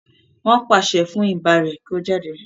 nwọn paṣẹ fun iba rẹ kio jáde.